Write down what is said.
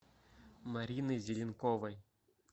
мариной зеленковой